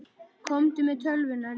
Komdu með tölvuna líka.